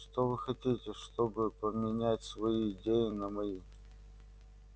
что вы хотите чтобы поменять свои идеи на мои